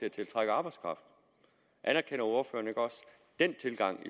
at tiltrække arbejdskraft anerkender ordføreren ikke også den tilgang